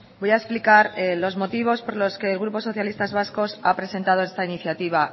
voy a explicar los motivos por los que el grupo socialistas vascos ha presentado esta iniciativa